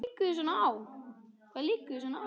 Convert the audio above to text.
Hvað liggur þér svona á?